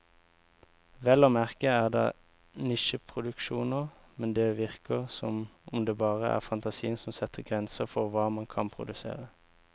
Vel å merke er det nisjeproduksjoner, men det virker som om det bare er fantasien som setter grenser for hva man kan produsere.